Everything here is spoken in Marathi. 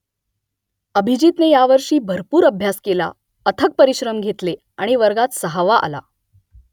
अभिजीतने यावर्षी भरपूर अभ्यास केला , अथक परिश्रम घेतले आणि वर्गात सहावा आला